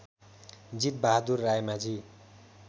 Jit Bahadur Raimajhi